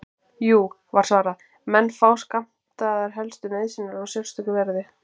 Jú, var svarað, menn fá skammtaðar helstu nauðsynjar á sérstöku verði.